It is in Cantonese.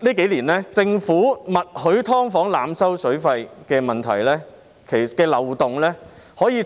這幾年，政府默許"劏房"濫收水費的問題和漏洞，可見